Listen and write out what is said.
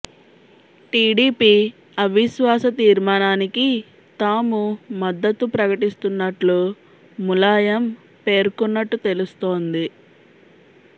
TDP అవిశ్వాస తీర్మానానికి తాము మద్దతు ప్రకటిస్తున్నట్టు ములాయం పేర్కొన్నట్టు తెలుస్తోంది